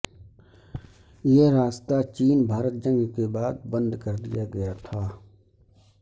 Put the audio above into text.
یہ راستہ چین بھارت جنگ کے بعد بند کر دیا گیا تھا